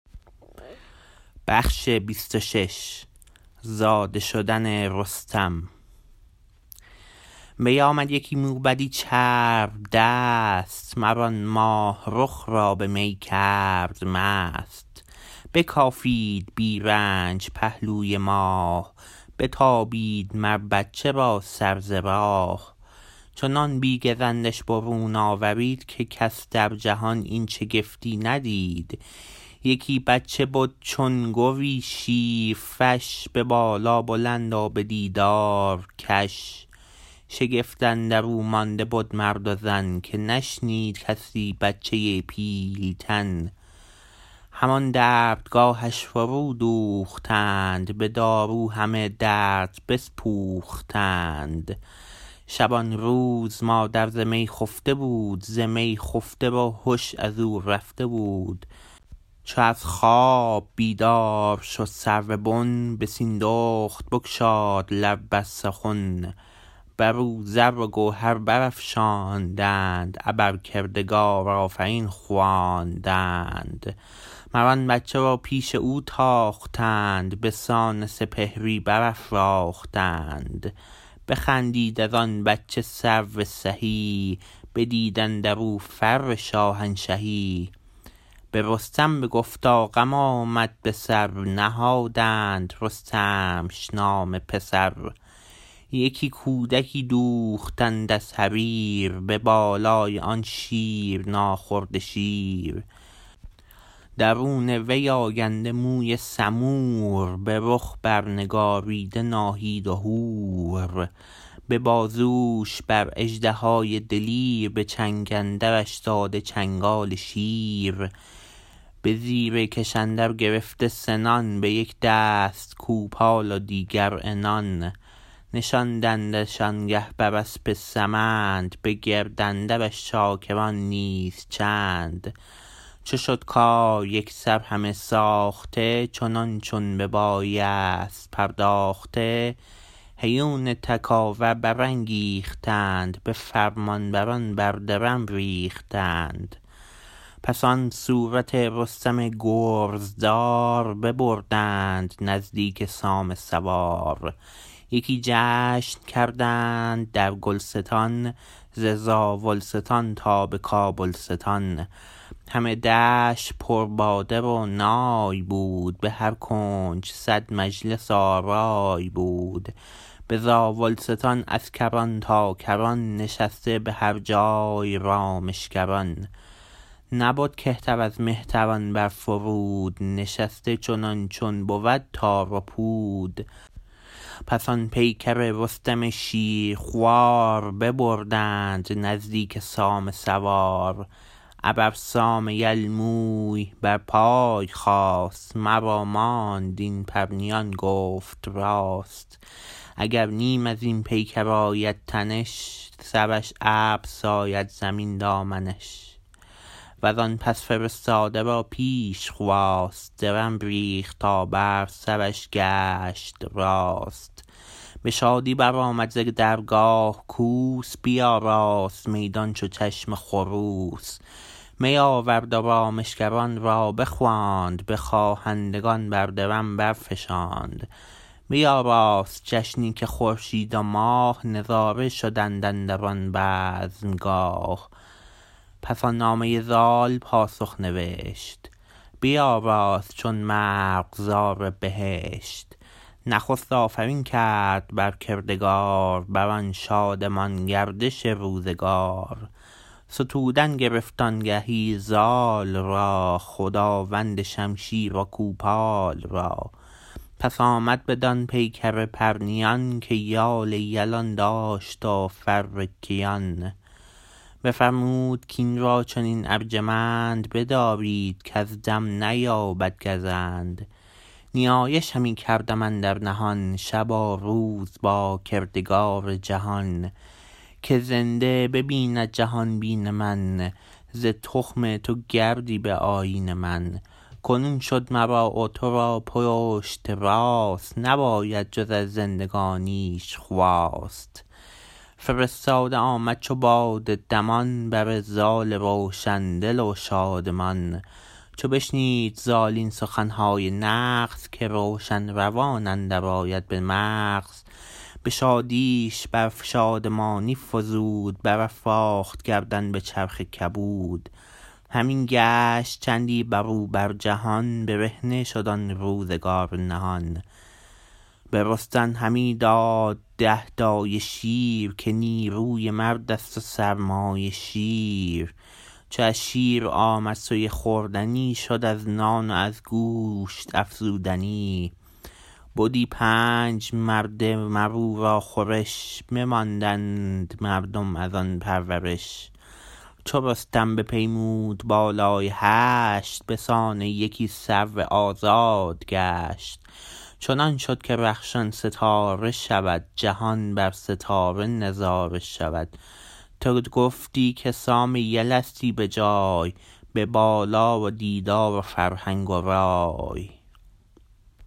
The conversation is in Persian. بیامد یکی موبدی چرب دست مر آن ماه رخ را به می کرد مست بکافید بی رنج پهلوی ماه بتابید مر بچه را سر ز راه چنان بی گزندش برون آورید که کس در جهان این شگفتی ندید یکی بچه بد چون گوی شیرفش به بالا بلند و به دیدار کش شگفت اندرو مانده بد مرد و زن که نشنید کس بچه پیل تن همان دردگاهش فرو دوختند به دارو همه درد بسپوختند شبانروز مادر ز می خفته بود ز می خفته و هش ازو رفته بود چو از خواب بیدار شد سرو بن به سیندخت بگشاد لب بر سخن بر او زر و گوهر برافشاندند ابر کردگار آفرین خواندند مر آن بچه را پیش او تاختند به سان سپهری برافراختند بخندید از آن بچه سرو سهی بدید اندرو فر شاهنشهی برستم بگفتا غم آمد به سر نهادند رستمش نام پسر یکی کودکی دوختند از حریر به بالای آن شیر ناخورده شیر درون وی آگنده موی سمور به رخ بر نگاریده ناهید و هور به بازوش بر اژدهای دلیر به چنگ اندرش داده چنگال شیر به زیر کش اندر گرفته سنان به یک دست کوپال و دیگر عنان نشاندندش آنگه بر اسپ سمند به گرد اندرش چاکران نیز چند چو شد کار یکسر همه ساخته چنان چون ببایست پرداخته هیون تکاور برانگیختند به فرمان بران بر درم ریختند پس آن صورت رستم گرزدار ببردند نزدیک سام سوار یکی جشن کردند در گلستان ز زاولستان تا به کابلستان همه دشت پر باده و نای بود به هر کنج صد مجلس آرای بود به زاولستان از کران تا کران نشسته به هر جای رامشگران نبد کهتر از مهتران بر فرود نشسته چنان چون بود تار و پود پس آن پیکر رستم شیرخوار ببردند نزدیک سام سوار ابر سام یل موی بر پای خاست مرا ماند این پرنیان گفت راست اگر نیم ازین پیکر آید تنش سرش ابر ساید زمین دامنش وزان پس فرستاده را پیش خواست درم ریخت تا بر سرش گشت راست به شادی برآمد ز درگاه کوس بیاراست میدان چو چشم خروس می آورد و رامشگران را بخواند به خواهندگان بر درم برفشاند بیاراست جشنی که خورشید و ماه نظاره شدند اندران بزمگاه پس آن نامه زال پاسخ نوشت بیاراست چون مرغزار بهشت نخست آفرین کرد بر کردگار بران شادمان گردش روزگار ستودن گرفت آنگهی زال را خداوند شمشیر و کوپال را پس آمد بدان پیکر پرنیان که یال یلان داشت و فر کیان بفرمود کین را چنین ارجمند بدارید کز دم نیابد گزند نیایش همی کردم اندر نهان شب و روز با کردگار جهان که زنده ببیند جهانبین من ز تخم تو گردی به آیین من کنون شد مرا و ترا پشت راست نباید جز از زندگانیش خواست فرستاده آمد چو باد دمان بر زال روشن دل و شادمان چو بشنید زال این سخنهای نغز که روشن روان اندر آید به مغز به شادیش بر شادمانی فزود برافراخت گردن به چرخ کبود همی گشت چندی بروبر جهان برهنه شد آن روزگار نهان به رستم همی داد ده دایه شیر که نیروی مردست و سرمایه شیر چو از شیر آمد سوی خوردنی شد از نان و از گوشت افزودنی بدی پنج مرده مراو را خورش بماندند مردم ازان پرورش چو رستم بپیمود بالای هشت بسان یکی سرو آزاد گشت چنان شد که رخشان ستاره شود جهان بر ستاره نظاره شود تو گفتی که سام یلستی به جای به بالا و دیدار و فرهنگ و رای